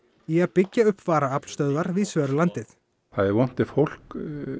í að byggja upp varaaflstöðvar víðs vegar um landið það er vont ef fólk